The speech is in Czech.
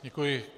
Děkuji.